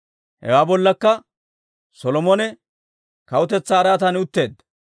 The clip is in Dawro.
Hewaa bollakka Solomone kawutetsaa araatan utteedda.